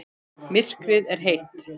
Myrkrið er heitt.